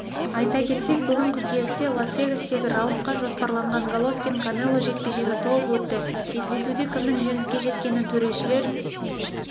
айта кетсек бүгін қыркүйекте лас-вегастегі раундқа жоспарланған головкин-канело жекпе-жегі толық өтті кездесуде кімнің жеңіске жеткенін төрешілер